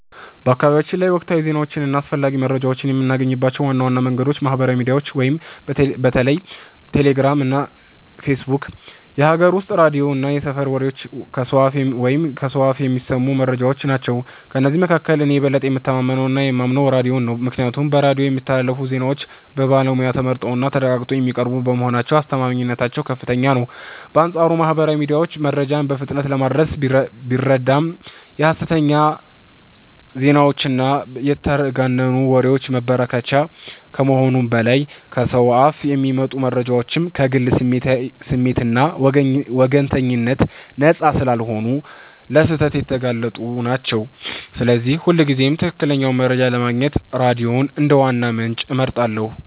በአካባቢያችን ላይ ወቅታዊ ዜናዎችን እና አስፈላጊ መረጃዎችን የምናገኝባቸው ዋና ዋና መንገዶች ማህበራዊ ሚዲያ (በተለይ ቴሌግራም እና ፌስቡክ)፣ የሀገር ውስጥ ሬዲዮ እና የሰፈር ወሬዎች (ከሰው አፍ የሚሰሙ መረጃዎች) ናቸው። ከእነዚህ መካከል እኔ የበለጠ የምተማመነውና የማምነው ሬዲዮን ነው፤ ምክንያቱም በሬዲዮ የሚስተላለፉ ዜናዎች በባለሙያ ተጣርተውና ተረጋግጠው የሚቀርቡ በመሆናቸው አስተማማኝነታቸው ከፍተኛ ነው። በአንጻሩ ማህበራዊ ሚዲያ መረጃን በፍጥነት ለማድረስ ቢረዳም የሐሰተኛ ዜናዎችና የተጋነኑ ወሬዎች መበራከቻ ከመሆኑም በላይ፣ ከሰው አፍ የሚመጡ መረጃዎችም ከግል ስሜትና ወገንተኝነት ነፃ ስላልሆኑ ለስህተት የተጋለጡ ናቸው፤ ስለዚህ ሁልጊዜም ትክክለኛውን መረጃ ለማግኘት ሬዲዮን እንደ ዋና ምንጭ እመርጣለሁ።